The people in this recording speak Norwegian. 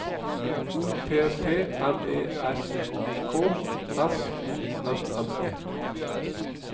O P P M E R K S O M M E